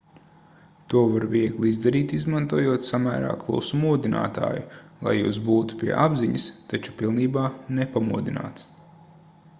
to var viegli izdarīt izmantojot samērā klusu modinātāju lai jūs būtu pie apziņas taču pilnībā nepamodināts